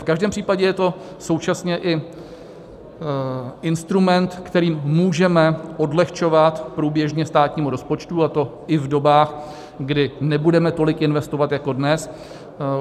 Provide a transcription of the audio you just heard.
V každém případě je to současně i instrument, kterým můžeme odlehčovat průběžně státnímu rozpočtu, a to i v dobách, kdy nebudeme tolik investovat jako dnes.